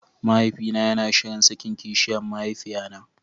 Mahaifina yana shirin sakin kishiyan mahaifiyata.